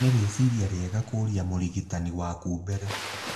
Nĩ rĩciria riega kũria mũrigitani waku mbere.